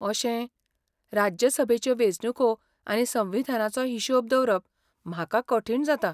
अशें. राज्यसभेच्यो वेंचणूको आनी संविधानाचो हिशोब दवरप म्हाका कठीण जाता.